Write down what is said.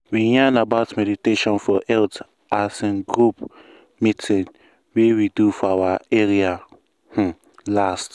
we yarn about meditation for health as in group meeting wey we do for our area um last.